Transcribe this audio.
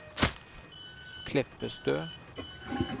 Kleppestø